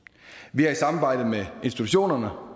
vi har i samarbejde med institutionerne